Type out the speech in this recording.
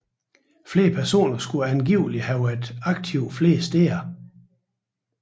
Flere personer skulle angiveligt have været aktive flere steder